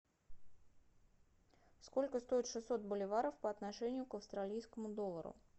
сколько стоят шестьсот боливаров по отношению к австралийскому доллару